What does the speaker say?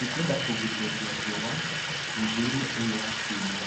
Nĩ ngwenda kũgiriria riua mũthia-inĩ ũyũ wa kiumia